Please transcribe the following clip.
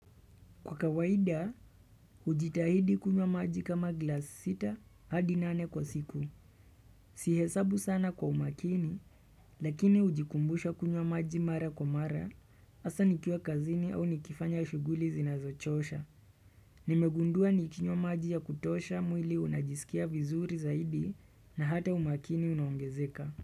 Kwa kawaida, ujitahidi kunywa maji kama glass sita hadi nane kwa siku. Sihesabu sana kwa umakini, lakini ujikumbushe kumwa maji mara kwa mara, asa nikiwa kazini au nikifanya shuguli zinazochosha. Nimegundua nikinywa maji ya kutosha mwili unajisikia vizuri zaidi na hata umakini unongezeka.